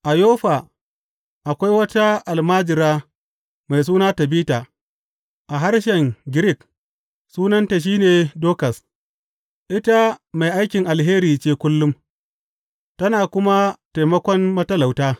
A Yoffa akwai wata almajira mai suna Tabita a harshen Girik sunanta shi ne Dokas; ita mai aikin alheri ce kullum, tana kuma taimakon matalauta.